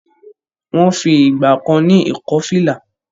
Wọ́n fi ìgbà kan ní ìkọ́-fìlà.